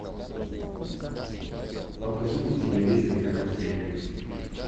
покажи на телевизоре карусель